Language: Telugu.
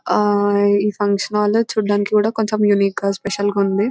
ఆహ్ ఈ ఫంక్షన్ హాలు చూడడానికి కూడా కొంచెం యూనిక్ గా చాలా స్పెషల్ గా ఉంది .